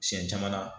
Siɲɛ caman na